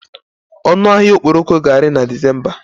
Ọnụ ahịa okporoko ga-ari na Disemba.